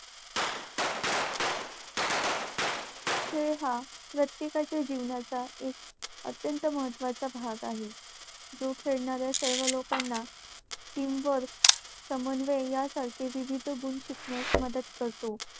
खेळ हा प्रत्येकाच्या जीवनाचा एक अत्यंत महत्त्वाचा भाग आहे. जो खेळणाऱ्या सर्व लोकांना team work समन्वय यासारखे विविध गुण शिकण्यास मदत करतो.